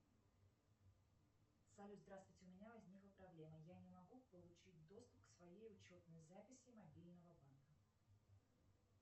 салют здравствуйте у меня возникла проблема я не могу получить доступ к своей учетной записи мобильного банка